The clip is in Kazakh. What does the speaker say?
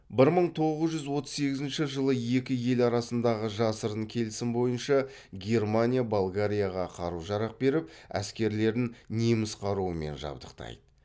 бір мың тоғыз жүз отыз сегізінші жылы екі ел арасындағы жасырын келісім бойынша германия болгарияға қару жарақ беріп әскерлерін неміс қаруымен жабдықтайды